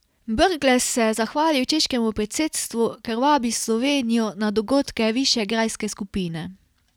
Brglez se je zahvalil češkemu predsedstvu, ker vabi Slovenijo na dogodke Višegrajske skupine.